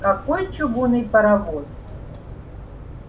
какой чугунный паровоз